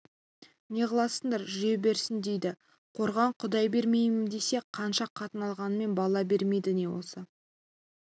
не ғыласыңдар жүре берсін дейді қорған құдай бермейін десе қанша қатын алғаныңмен бала бермейді не болса